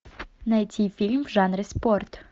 найти фильм в жанре спорт